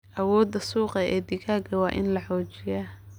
Awoodda suuqa ee digaagga waa in la xoojiyaa.